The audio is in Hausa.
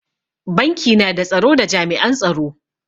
Banki na da tsaro da jami'an tsaro.